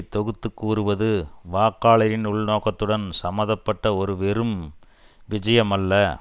தொகுத்து கூறுவது வாக்காளரின் உள்நோக்கத்துடன் சம்பந்த பட்ட ஒரு வெறும் விஜயம் அல்ல